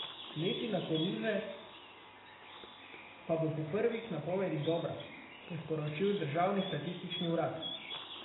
Letina koruze pa bo po prvih napovedih dobra, je sporočil državni statistični urad.